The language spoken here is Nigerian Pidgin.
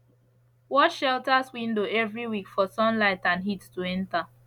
wash shelters windows every week for sunlight and heat to enter